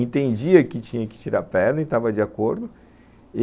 Entendia que tinha que tirar a perna e estava de acordo.